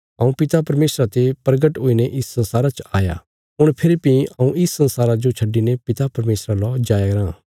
हऊँ पिता परमेशरा ते प्रगट हुईने इस संसारा च आया हुण फेरी भीं हऊँ इस संसारा जो छड्डिने पिता परमेशरा लौ जाईराँ